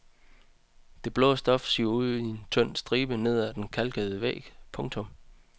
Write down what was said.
Det blå stof siver i en tynd stribe ned ad den kalkede væg. punktum